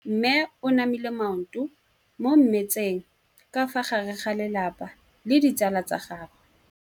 Mme o namile maoto mo mmetseng ka fa gare ga lelapa le ditsala tsa gagwe.